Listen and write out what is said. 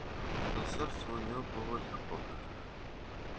на сердце у неё было легко